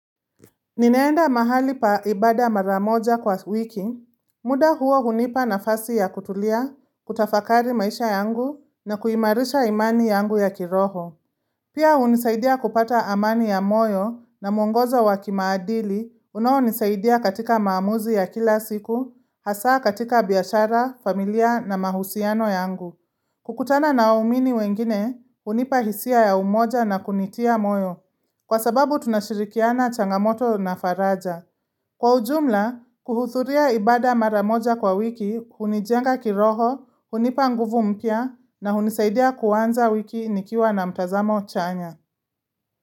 Ninaenda mahali pa ibada mara moja kwa wiki, muda huo hunipa nafasi ya kutulia, kutafakari maisha yangu na kuimarisha imani yangu ya kiroho. Pia hunisaidia kupata amani ya moyo na mwongozo wa kimaadili unaonisaidia katika maamuzi ya kila siku, hasa katika biashara, familia na mahusiano yangu. Kukutana na waumini wengine, hunipa hisia ya umoja na kunitia moyo. Kwa sababu tunashirikiana changamoto na faraja. Kwa ujumla, kuhudhuria ibada mara moja kwa wiki, hunijenga kiroho, hunipa nguvu mpya na hunisaidia kuanza wiki nikiwa na mtazamo chanya.